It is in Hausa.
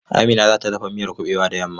Amina za ta dafa miyan kuɓewa da yamma.